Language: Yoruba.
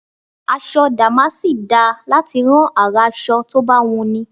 Aṣọ dàmásì dáa láti rán àrà aṣọ tó bá wùnni.